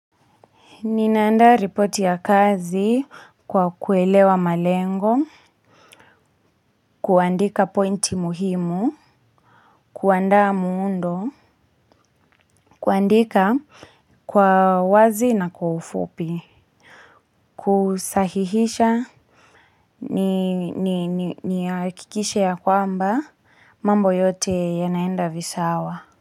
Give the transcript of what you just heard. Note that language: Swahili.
Ninaandaa report ya kazi kwa kuelewa malengo, kuandika pointi muhimu, kuandaa muundo, kuandika kwa wazi na kwa ufupi, kusahihisha ni akikishe ya kwamba mambo yote yanaenda visawa.